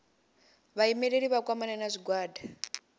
vhaimeleli vha kwamane na zwigwada